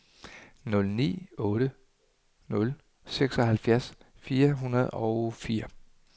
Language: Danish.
nul ni otte nul seksoghalvfjerds fire hundrede og fire